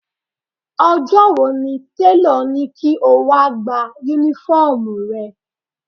Ọjọ́ wo ni tèlọ̀ ní kí o wá Únífọ́ọ̀mù rẹ?